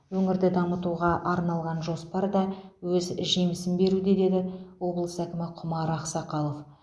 өңірді дамытуға арналған жоспар да өз жемісін беруде деді облыс әкімі құмар ақсақалов